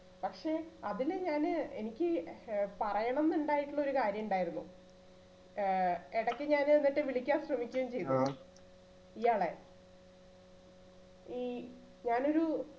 പക്ഷേ അതില് ഞാന് എനിക്ക് ആ പറയണം എന്ന് ഉണ്ടായിട്ടുള്ള ഒരു കാര്യണ്ടായിരുന്നു ആ എടയ്ക്ക് ഞാൻ എന്നിട്ട് വിളിക്കാൻ ശ്രമിക്കുകയും ചെയ്തു. ഇയാളെ ഈ ഞാനൊരു